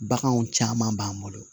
Baganw caman b'an bolo